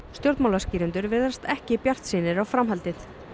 stjórnmálaskýrendur virðast ekki bjartsýnir á framhaldið það